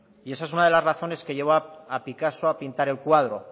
y esa es una de las razones que llevó a picasso a pintar el cuadro